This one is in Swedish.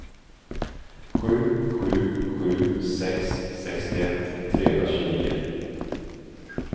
sju sju sju sex sextioett trehundratjugonio